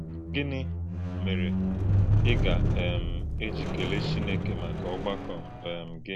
Gínị́ mèrè̄ ị́ gà - um èjì̄ kèlè̄ Chínèkè̄ màkà ọ̀gbàkọ̄ um gị̣?